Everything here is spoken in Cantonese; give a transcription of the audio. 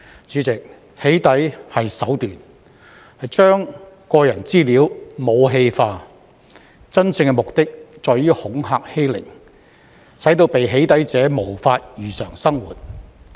主席，"起底"是手段，將個人資料武器化，真正目的在於恐嚇欺凌，使被"起底"者無法如常生活。